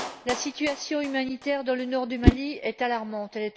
La situation humanitaire dans le nord du Mali est alarmante.